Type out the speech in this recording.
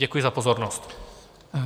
Děkuji za pozornost.